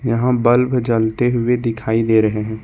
यहां बल्ब जलते हुए दिखाई दे रहे हैं।